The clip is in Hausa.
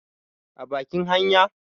a bakin hanya?